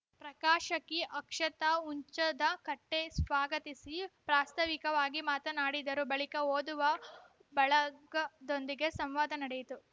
ಪ್ರಕಾಶಕಿ ಅಕ್ಷತಾ ಹುಂಚದಕಟ್ಟೆಸ್ವಾಗತಿಸಿ ಪ್ರಾಸ್ತಾವಿಕವಾಗಿ ಮಾತನಾಡಿದರು ಬಳಿಕ ಓದುವ ಬಳಗದೊಂದಿಗೆ ಸಂವಾದ ನಡೆಯಿತು